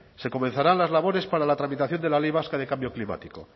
se comenzarán las labores para la tramitación de la ley vasca de cambio climático